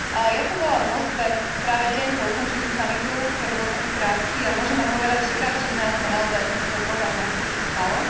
Ja som bola v Moskve práve deň po ukončení samitu, ktorý bol taký krátky, a môžem vám povedať, že každý z nás má naozaj ten svoj pohľad na to, čo sa stalo.